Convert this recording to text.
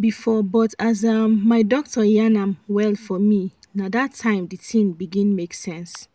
before but as um my doctor yan am well for me nah dat time the thing begin make sense.